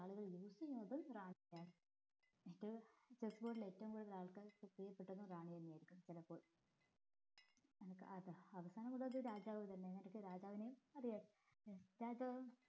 power use ചെയ്യുന്നത് റാണിക്കാണ് മറ്റേ chess board ല് ഏറ്റവും കൂടുതൽ ആൾക്കാര് റാണി തന്നെ ആയിരിക്കും ചെലപ്പോൾ അനക്ക് അവസാനം മുതൽ അത് രാജാവിന് തന്നെ കാരണം രാജാവിന് അറിയാലോ രാജാവ്